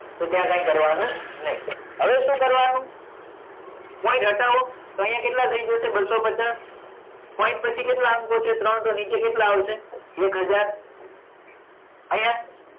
તો ત્યાં કાંઈ કરવાનું નહીં. હવે શું કરવાનું point હટાવો તો અહીંયા કેટલા થઈ જશે બસસો પચાસ point પછી કેટલા અંકો છે ત્રણ તો નીચે કેટલા આવશે એક હજાર અહીંયા